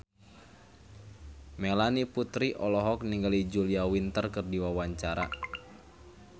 Melanie Putri olohok ningali Julia Winter keur diwawancara